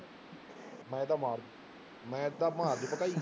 ਮੈਂ ਤਾਂ ਮਾਰ, ਮੈਂ ਤਾਂ ਮਾਰ ਦਊਂ ਭਕਾਈ